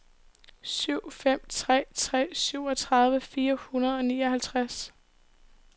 syv fem tre tre syvogtredive fire hundrede og nioghalvtreds